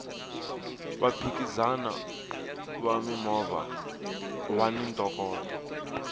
vaphikizani va mimovha vani ntokoto